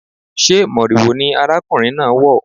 Sé moriwo ni arákùnrin náà wọ̀?